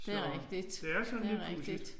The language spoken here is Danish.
Det er rigtigt. Det er rigtigt